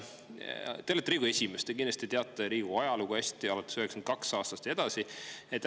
Te olete Riigikogu esimees ja te kindlasti teate Riigikogu ajalugu hästi, alates 1992. aastast ja sealt edasi.